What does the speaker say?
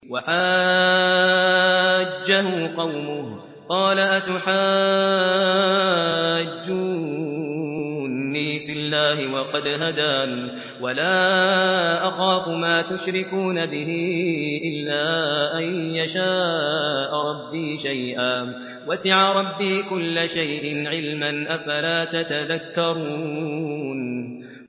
وَحَاجَّهُ قَوْمُهُ ۚ قَالَ أَتُحَاجُّونِّي فِي اللَّهِ وَقَدْ هَدَانِ ۚ وَلَا أَخَافُ مَا تُشْرِكُونَ بِهِ إِلَّا أَن يَشَاءَ رَبِّي شَيْئًا ۗ وَسِعَ رَبِّي كُلَّ شَيْءٍ عِلْمًا ۗ أَفَلَا تَتَذَكَّرُونَ